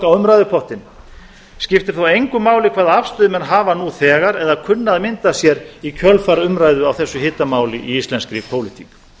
á umræðupottinn skiptir þá engu máli hvaða afstöðu menn hafa nú þegar eða kunna að mynda sér í kjölfar umræðu á þessu hitamáli í íslenskri pólitík